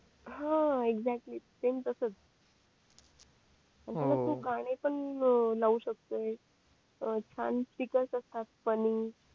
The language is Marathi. हा एक्साक्टली तसंच आपलं तू गाणे पण लावू शकतोय अ छान स्पीकर असतात फॅनी